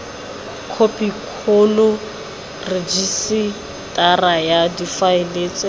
khopikgolo rejisetara ya difaele tse